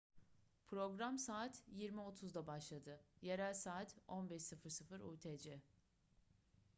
program saat 20:30'da başladı. yerel saat 15.00 utc